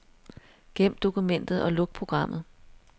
Gem dokumentet og luk programmet.